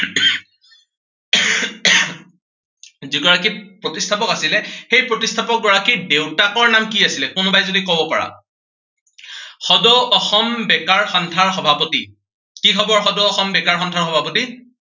যি গৰাকী প্ৰতিষ্ঠাপক আছিলে, সেই প্ৰতিষ্ঠাপক গৰাকীৰ দেউতাকৰ নাম কি আছিলে, কোনোবাই যদি কব পাৰা। সদৌ অসম বেকাৰ সন্ধাৰ সভাপতি। কি খবৰ, সদৌ অসম বেকাৰ সন্ধাৰ সভাপতি?